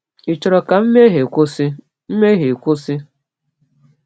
Ị chọrọ ka mmehie kwụsị? mmehie kwụsị?